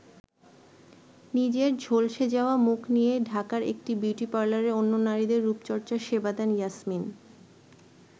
নিজের ঝলসে যাওয়া মুখ নিয়ে ঢাকার একটি বিউটি পার্লারে অন্য নারীদের রূপচর্চার সেবা দেন ইয়াসমিন।